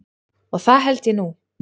Og það held ég nú.